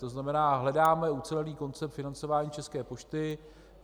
To znamená, hledáme ucelený koncept financování České pošty.